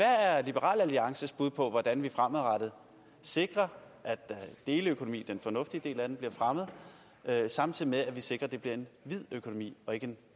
er liberal alliances bud på hvordan vi fremadrettet sikrer at deleøkonomien den fornuftige del af den bliver fremmet samtidig med at vi sikrer at det bliver en hvid økonomi og ikke en